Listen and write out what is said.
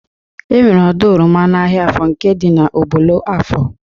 Enwere ọdọ oroma n'ahịa Afọ nke dị na Ubollo Afọ